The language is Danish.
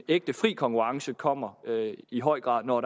ægte fri konkurrence kommer i høj grad når